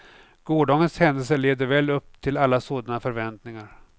Gårdagens händelser levde väl upp till alla sådana förväntningar.